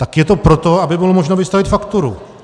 Tak je to proto, aby bylo možno vystavit fakturu.